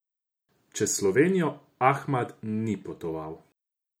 Čez Slovenijo Ahmad ni potoval.